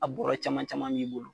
A bɔrɔ caman caman b'i bolo.